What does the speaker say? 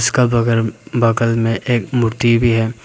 का बगल बगल में एक मूर्ति भी है।